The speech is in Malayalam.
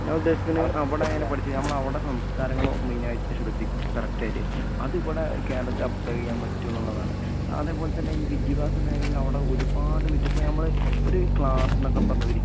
ഞാനുദ്ദേശിക്കണ് അവടെ അങ്ങനെ പഠിച്ച് ഞമ്മളവടെ സംസ്കാരങ്ങളോ മെയിനായിട്ട് ശ്രെദ്ധി കറക്റ്റായിട്ട് അതിവടെ കേരളത്തിലപ്ലൈ ചെയ്യാൻ പറ്റുംന്നുള്ളതാണ്. അതേപോലെത്തന്നെ ഈ വിദ്യഭ്യാസ മേഖലേല് ഒരുപാട് വിറ്റപ്പോ ഞമ്മള് ഒര് ക്ലാസെന്നൊക്കെ പറഞ്ഞൊരി